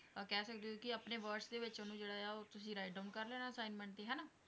ਕਹਿ ਸਕਦੇ ਹੋਂ ਕਿ ਆਪਣੇ words ਦੇ ਵਿੱਚ ਉਹਨੂੰ ਜਿਹੜਾ ਹੈ ਉਹ ਤੁਸੀਂ writedown ਕਰ ਲੈਣਾ assignment ਤੇ, ਹੈਨਾ?